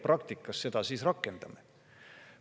Kuidas me seda praktikas rakendame?